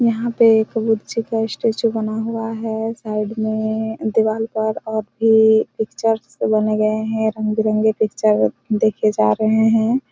यहाँ पे एक कबीर जी का स्टेचू बना हुआ है साइड में दीवार पर और भी पिक्चर्स बने गए है रंग-बिरंगे पिक्चर देखे जा रहे हैं।